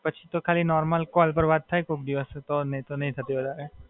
હાં, પછી તો ખાલી normal કોલ પર વાત થાય કોક દિવસ નહીં તો નહીં થતી વધારે.